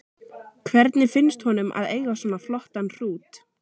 Hvernig finnst honum að eiga svona flottan hrút?